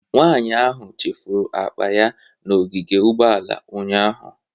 Nwanyị ahụ chefuru akpa ya n'ogige ugbooala ụnyahụ.